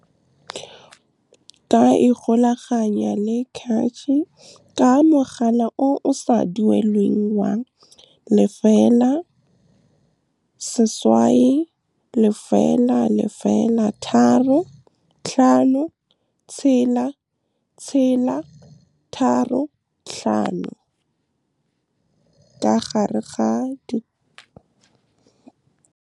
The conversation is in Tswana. Ka ikgolaganya le CACH ka mogala o o sa duelelweng wa, 0800 356 635. Ka ikgolaganya le CACH ka mogala o o sa duelelweng wa, 0800 356 635.